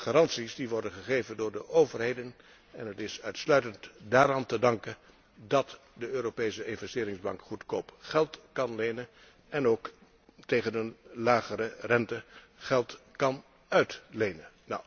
De garanties worden gegeven door de overheden en het is uitsluitend daaraan te danken dat de Europese Investeringsbank goedkoop geld kan lenen en ook tegen een lagere rente geld kan uitlenen.